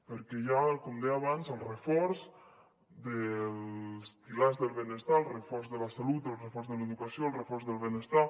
perquè hi ha com deia abans el reforç dels pilars del benestar el reforç de la salut el reforç de l’educació el reforç del benestar